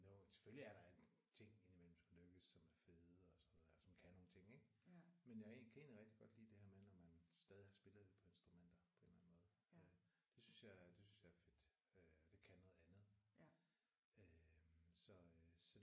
Selvfølgelig er der ting indimellem som lykkes som er fede og sådan noget der og som kan nogle ting ik. Men jeg kan egentlig rigtig godt lide det der med når man stadig har spillet det på instrumenter på en eller anden måde. Det synes jeg er fedt og det kan noget andet øh så